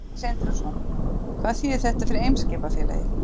Sindri Sindrason: Hvað þýðir þetta fyrir Eimskipafélagið?